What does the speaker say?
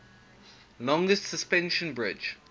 longest suspension bridge